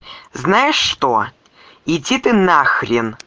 знаешь что иди ты на хрен